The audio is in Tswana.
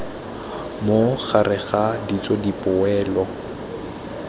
mo gareg ga ditso dipoelo